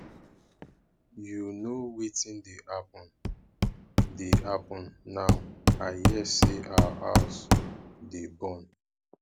you know wetin dey happen dey happen now i hear say our house dey burn